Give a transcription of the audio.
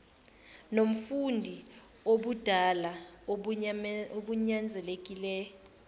mfundi obudala obunyanzelekile